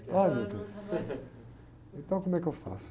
ntão como é que eu faço?